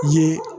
Ye